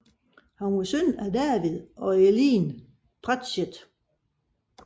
Han var søn af David og Eileen Pratchett